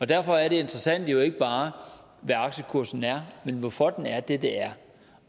derfor er det interessante jo ikke bare hvad aktiekursen er men hvorfor den er det er